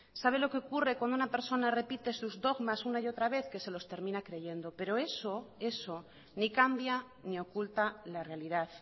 sabe lo que ocurre cuando una persona repite sus dogmas una y otra vez que se los termina creyendo pero eso ni cambia ni oculta la realidad